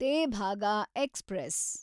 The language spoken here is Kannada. ತೇಭಾಗ ಎಕ್ಸ್‌ಪ್ರೆಸ್